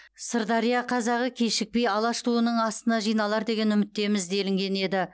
сырдария қазағы кешікпей алаш туының астына жиналар деген үміттеміз делінген еді